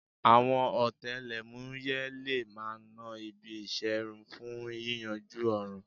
Àwọn ọ̀tẹlẹ̀múyẹ́ le máa ná ibi ìṣerun fún yíyanjú ọ̀ràn